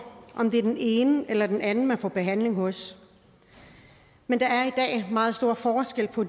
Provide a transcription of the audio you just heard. om det er den ene eller den anden man får behandling hos men der er i dag meget stor forskel på